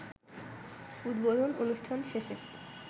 উদ্বোধন অনুষ্ঠান শেষে